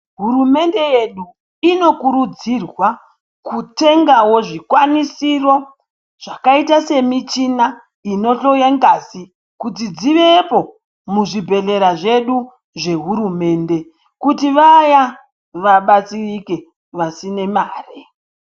Hurumende yedu inokurudzirwaa kutengavo zvikwanisiro zvakaita semichina inohloyaa ngazi kuti dzivepo muzvibhedhlera zvedu zvehurumende kuti vaya vabatsirike vasine maree.